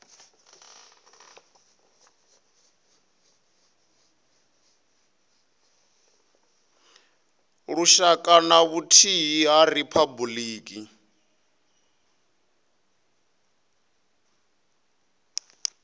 lushaka na vhuthihi ha riphabuliki